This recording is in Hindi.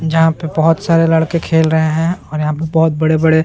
जहाँ पे बहुत सारे लड़के खेल रहे है और यहाँ पे बहुत बड़े-बड़े --